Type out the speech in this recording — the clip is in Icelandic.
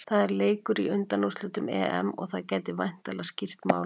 Það er leikur í undanúrslitum EM og það gæti væntanlega skýrt málin.